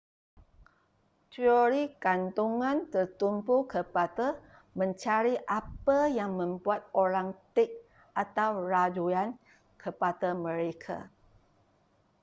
teori kandungan tertumpu kepada mencari apa yang membuat orang tik atau rayuan kepada mereka